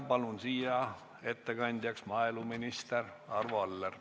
Palun ettekandjaks maaeluminister Arvo Alleri.